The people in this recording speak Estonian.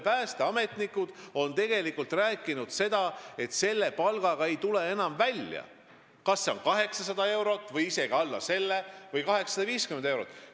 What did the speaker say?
Päästeametnikud on tegelikult aastaid rääkinud, et nad ei tule enam välja palgaga, mis on 850 eurot, 800 eurot või isegi alla selle.